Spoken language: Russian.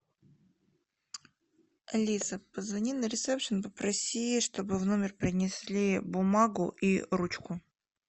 алиса позвони на ресепшен попроси чтобы в номер принесли бумагу и ручку